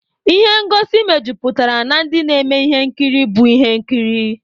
Ịhe ngosi mejuputara na ndị na-eme ihe nkiri bụ ihe nkiri.